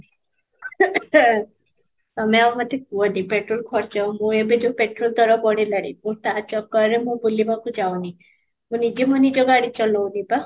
ତମେ ଆଉ ମୋତେ କୁହନି petrol ଖର୍ଚ୍ଚ ମୁଁ ଏବେ ଯୋଉ petrol ଦର ବଢିଲାଣି ମୁଁ ତା ଚକର ରେ ମୁଁ ବୁଲିବାକୁ ଚାହୁନି, ମୁଁ ନିଜେ ମୋ ନିଜ ଗାଡି ଚଲଉନି ତ